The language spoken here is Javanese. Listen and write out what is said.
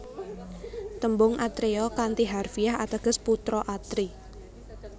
Tembung atreya kanthi harfiah ateges putra Atri